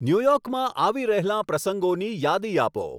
ન્યુયોર્કમાં આવી રહેલાં પ્રસંગોની યાદી આપો